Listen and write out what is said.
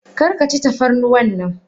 Karkaci tafarnuwannan.!